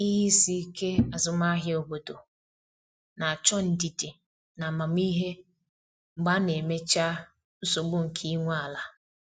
Ihe isi ike azụmahịa obodo na-achọ ndidi na amamihe mgbe a na-emechaa nsogbu nke ị nwe ala.